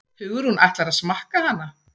Hugrún: Ætlarðu að smakka hana?